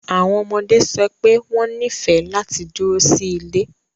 Awọn ọmọde sọ pe wọn nifẹ lati duro si ile